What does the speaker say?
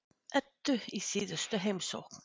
Eddu í síðustu heimsókn.